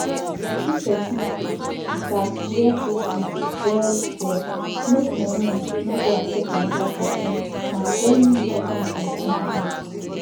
if person sick e gats wear face mask well well make him own no go affect another person na very important something be that